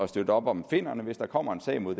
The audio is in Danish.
støtte op om finnerne hvis der kommer en sag mod